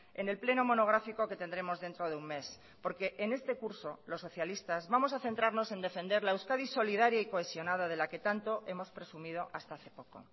en el pleno monográfico que tendremos dentro de un mes porque en este curso los socialistas vamos a centrarnos en defender la euskadi solidaria y cohesionada de la que tanto hemos presumido hasta hace poco